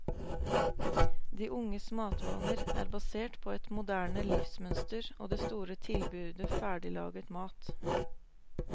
De unges matvaner er basert på et moderne livsmønster og det store tilbudet ferdiglaget mat.